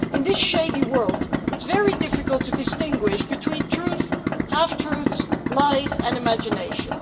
In this shady world it's very difficult to distinguish between truth, half truths, lies and imagination.